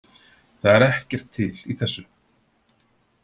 Það er ekkert til í þessu